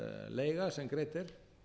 leiga sem greidd er